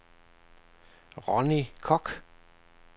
Ronni Kock